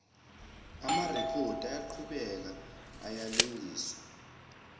amarekhodi okuqhubeka ayalungiswa